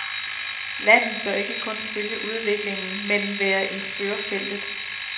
Landet bør ikke kun følge udviklingen men være i førerfeltet.